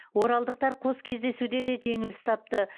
оралдықтар қос кездесуде де жеңіліс тапты